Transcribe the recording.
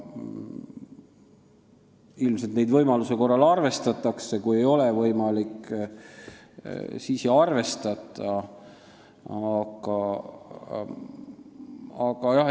Ilmselt neid võimaluse korral arvestatakse, aga kui ei ole võimalik, siis ei arvestata.